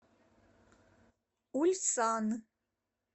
ульсан